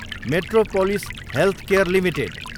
metropolis Healthcare Ltd